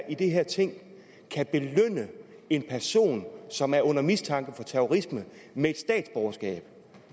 i det her ting kan belønne en person som er under mistanke for terrorisme med et statsborgerskab